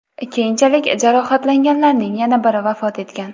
Keyinchalik jarohatlanganlarning yana biri vafot etgan .